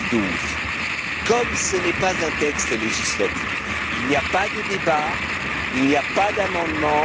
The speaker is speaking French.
2012. Comme ce n'est pas un texte législatif, il n'y a pas de débat, il n'y a pas d'amendements.